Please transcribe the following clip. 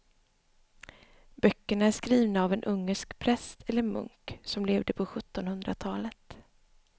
Böckerna är skrivna av en ungersk präst eller munk som levde på sjuttonhundratalet.